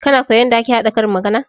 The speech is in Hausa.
Kana koya yarda ake haɗa karin magana?